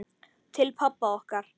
Til pabba okkar.